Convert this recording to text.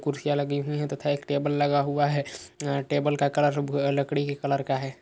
कुर्सियां लगी हुई है तथा एक टेबुल लगा हुआ है। टेबल का कलर लकड़ी के कलर का है।